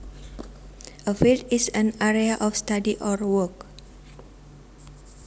A field is an area of study or work